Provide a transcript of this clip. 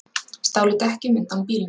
Stálu dekkjum undan bílum